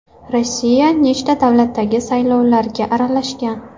Rossiya nechta davlatdagi saylovlarga aralashgan?